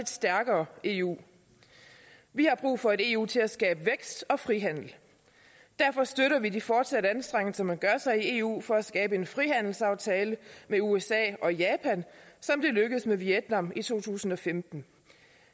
stærkere eu vi har brug for et eu til at skabe vækst og frihandel derfor støtter vi de fortsatte anstrengelser man gør sig i eu for at skabe en frihandelsaftale med usa og japan som det lykkedes med vietnam i to tusind og femten